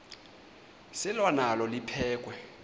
selwa nalo liphekhwe